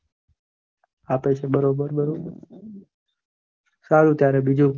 આપે છે બરોબર સારું સારું ત્યારે બીજું